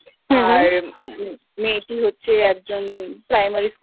আর মেয়েটি হচ্ছে একজন প্রাইমারি স্কুল এর শিক্ষিকা। আচ্ছা